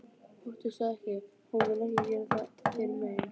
Óttastu ekki- hún mun ekki gera þér mein.